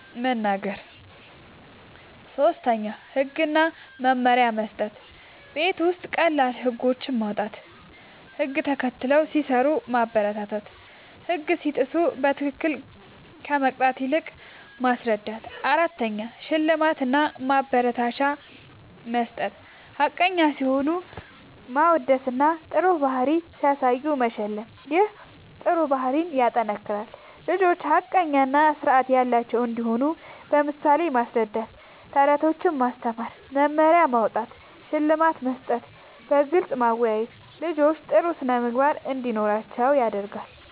መናገር። ፫. ህግ እና መመሪያ መስጠት፦ ቤት ውስጥ ቀላል ህጎች ማዉጣት፣ ህግ ተከትለው ሲሰሩ ማበረታታትና ህግ ሲጥሱ በትክክል ከመቅጣት ይልቅ ማስረዳት ፬. ሽልማት እና ማበረታቻ መስጠት፦ ሐቀኛ ሲሆኑ ማወደስና ጥሩ ባህሪ ሲያሳዩ መሸለም ይህ ጥሩ ባህሪን ያጠናክራል። ልጆች ሐቀኛ እና ስርዓት ያላቸው እንዲሆኑ በምሳሌ ማስረዳት፣ በተረቶች ማስተማር፣ መመሪያ ማዉጣት፣ ሽልማት መስጠትና በግልጽ ማወያየት ልጆች ጥሩ ስነ ምግባር እንዲኖራቸዉ ያደርጋል